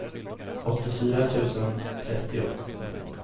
åttiofyra tusen trettio